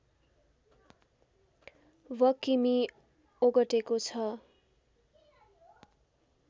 वकिमि ओगटेको छ